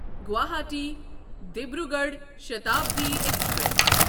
Guwahati Dibrugarh Shatabdi express